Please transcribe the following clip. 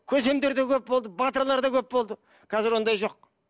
көсемдер де көп болды батырлар да көп болды қазір ондай жоқ